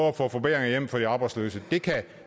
at få forbedringer hjem for de arbejdsløse det kan